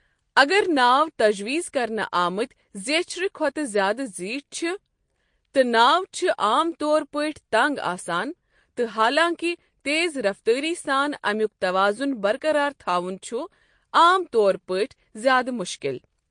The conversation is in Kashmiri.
اگر ناو تَجویٖز کرنہٕ آمٕتۍ زیچھرٕ کھوتہٕ زیادٕ زیٖٹھ چھ، تہٕ ناو چھِ عام طور پٲٹھۍ تنگ آسان، تہٕ حالانٛکِہ تیز رفتٲری سان امیُک توازن برقرار تھوٚون چھ عام طور پٲٹھۍ زیادٕ مشکل۔